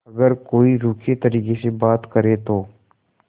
अगर कोई रूखे तरीके से बात करे तो